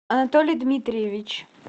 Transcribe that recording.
анатолий дмитриевич